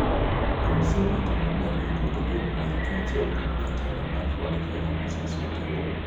kod senata ma Baringo Gideon Moi kaachiel kod jatelo mar Ford-Kenya Moses Wetangula